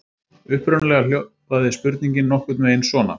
Upprunalega hljóðaði spurningin nokkurn veginn svona: